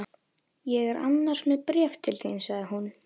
Ég er annars með bréf til þín sagði hún.